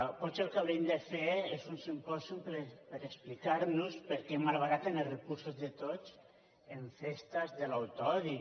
potser el que haurien de fer és un simpò·sium per explicar·nos perquè malbaraten els recursos de tots en festes de l’autoodi